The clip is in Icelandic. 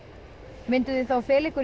mynduð þið þá fela ykkur í